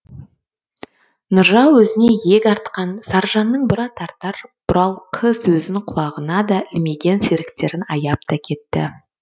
нұржау өзіне иек артқан саржанның бұра тартар бұралқы сөзін құлағына да ілмеген серіктерін аяп та кетті